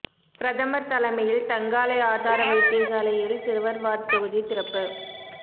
பிரதமர் தலைமையில் தங்காலை ஆதார வைத்தியசாலையில் சிறுவர் வார்ட் தொகுதி திறப்பு